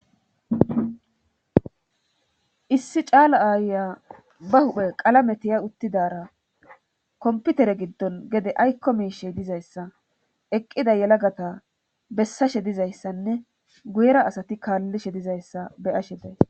issi caala aayya ba huphe qalame tiya uttidara komputere giddon gede aykko miishey dizayssa eqqida yelagata bessashe dizayssanne guyera asati kaallishe dizayssa beyashe day